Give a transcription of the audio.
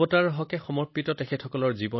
ফলত তেওঁলোক নিজেই মহামাৰীৰ দ্বাৰা আক্ৰান্ত হৈছিল